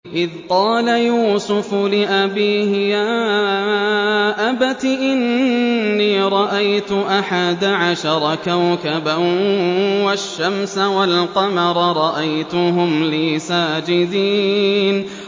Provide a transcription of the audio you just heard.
إِذْ قَالَ يُوسُفُ لِأَبِيهِ يَا أَبَتِ إِنِّي رَأَيْتُ أَحَدَ عَشَرَ كَوْكَبًا وَالشَّمْسَ وَالْقَمَرَ رَأَيْتُهُمْ لِي سَاجِدِينَ